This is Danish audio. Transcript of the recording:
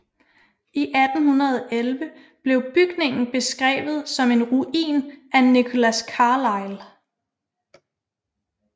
I 1811 blev bygningen beskreve tsom en ruin af Nicholas Carlisle